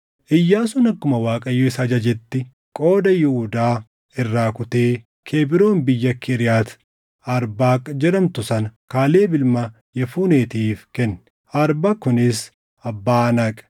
Iyyaasuun akkuma Waaqayyo isa ajajetti, qooda Yihuudaa irraa kutee Kebroon biyya Kiriyaati Arbaaq jedhamtu sana Kaaleb ilma Yefuneetiif kenne. Arbaaq kunis abbaa Anaaq.